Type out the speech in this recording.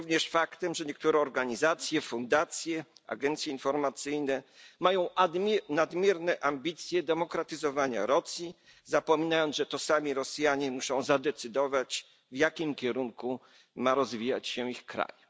Jest również faktem, że niektóre organizacje, fundacje, agencje informacyjne mają nadmierne ambicje demokratyzowania Rosji i zapominają, że to sami Rosjanie muszą zadecydować, w jakim kierunku ma rozwijać się ich kraj.